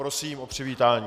Prosím o přivítání.